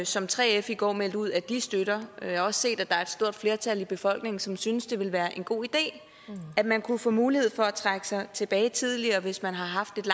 som 3f i går meldte ud at de støtter jeg har også set at der er et stort flertal i befolkningen som synes det vil være en god idé at man kunne få mulighed for at trække sig tilbage tidligere hvis man har haft et